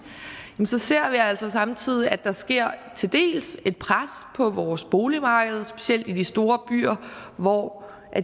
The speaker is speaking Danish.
så ser vi altså samtidig at der sker et pres på vores boligmarked specielt i de store byer hvor